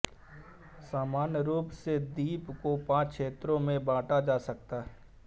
सामान्य रूप से द्वीप को पांच क्षेत्रों में बांटा जा सकता है